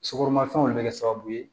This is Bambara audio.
Sukoromafɛnw de be kɛ sababu ye